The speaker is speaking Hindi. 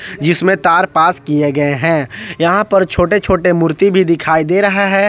जिसमे तार पास किए गए हैं यहां पर छोटे छोटे मूर्ति भी दिखाई दे रहा है।